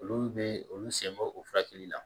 Olu bɛ olu sen bɔ o furakɛli la